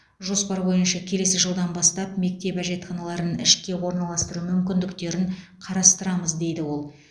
жоспар бойынша келесі жылдан бастап мектеп әжетханаларын ішке ораналастыру мүмкіндіктерін қарастырамыз дейді ол